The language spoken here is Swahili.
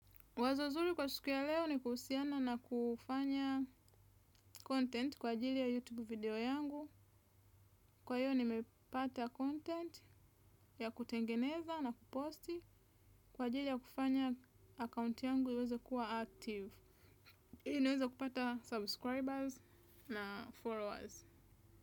Wazo zuri kwa siku ya leo ni kuhusiana na kufanya content kwa ajili ya YouTube video yangu. Kwa hiyo ni mepata content ya kutengeneza na kuposti kwa ajili ya kufanya account yangu iweza kuwa active. Ili niweze kupata subscribers na followers.